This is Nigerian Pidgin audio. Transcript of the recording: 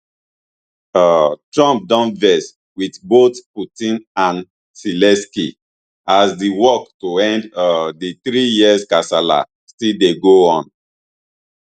um trump don vex wit both putin and zelensky as di work to end um di three year kasala still dey go on